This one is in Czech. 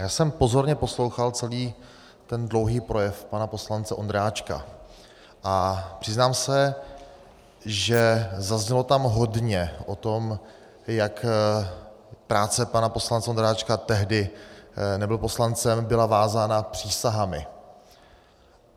Já jsem pozorně poslouchal celý ten dlouhý projev pana poslance Ondráčka a přiznám se, že zaznělo tam hodně o tom, jak práce pana poslance Ondráčka, tehdy nebyl poslancem, byla vázána přísahami.